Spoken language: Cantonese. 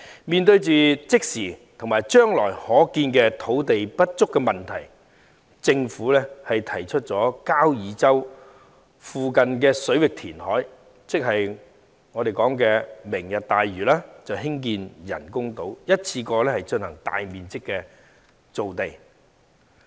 面對即時和將來可見的土地不足問題，政府提出在交椅洲附近水域填海，即所謂"明日大嶼"，在該處興建人工島，一次過進行大面積造地。